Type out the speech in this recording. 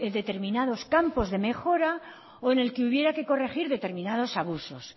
determinados campos de mejora o en el que hubiera que corregir determinados abusos